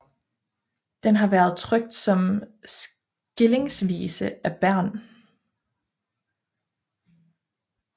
Den har været trykt som skillingsvise af Bernh